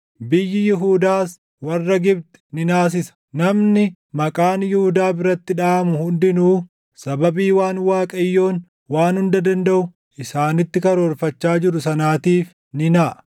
Biyyi Yihuudaas warra Gibxi ni naasisa; namni maqaan Yihuudaa biratti dhaʼamu hundinuu sababii waan Waaqayyoon Waan Hunda Dandaʼu isaanitti karoorfachaa jiru sanaatiif ni naʼa.